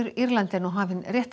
Írlandi er nú hafin